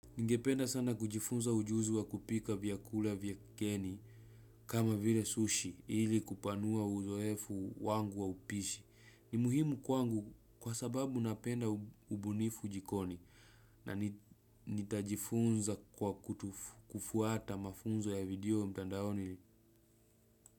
Ningependa sana kujifunza ujuzi wa kupika vyakula vya kigeni kama vile sushi ili kupanua uzoefu wangu wa upishi ni muhimu kwangu kwa sababu napenda ubunifu jikoni na nitajifunza kwa kufuata mafunzo ya video mtandaoni.